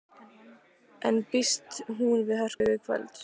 En býst hún við hörku í kvöld?